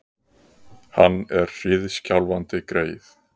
Hann er hríðskjálfandi, greyið!